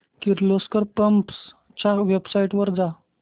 Kirloskar pumps च्या website वर जा